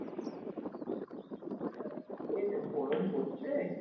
এই যা গরম পড়ছে